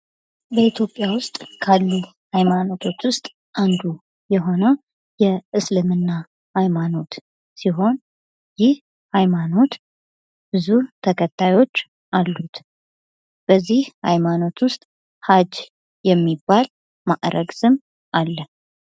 በኢትዮጵያ ዉስጥ ካሉ ሃይማኖቶች ዉስጥ አንዱ የሆነው የእስልምና ሃይማኖት ሲሆን ይህ ሃይማኖት ብዙ ተከታዮች አሉት:: በዚህ ሃይማኖት ዉስጥ ሃጅ የሚባል ማዕረግ ስም አለ::